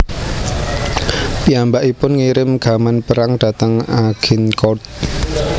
Piyambakipun ngirim gaman perang dhateng Agincourt